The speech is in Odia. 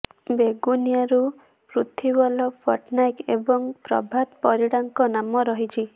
ବେଗୁନିଆରୁ ପୃଥ୍ବୀବଲ୍ଲଭ ପଟ୍ଟନାୟକ ଏବଂ ପ୍ରଭାତ ପରିଡାଙ୍କ ନାମ ରହିଛି